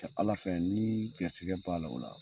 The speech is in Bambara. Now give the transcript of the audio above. Kɛ Ala fɛ n'i gɛrisigɛ b'a la o la